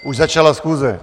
Už začala schůze.